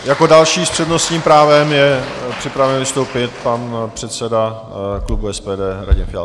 Jako další s přednostním právem je připraven vystoupit pan předseda klubu SPD Radim Fiala.